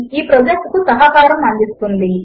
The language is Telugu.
ఈ ప్రాజెక్ట్ కు సహకారము అందిస్తున్నది